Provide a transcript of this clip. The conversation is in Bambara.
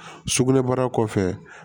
Sugunɛbara kɔfɛ